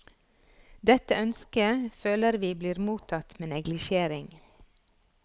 Dette ønsket føler vi blir mottatt med neglisjering.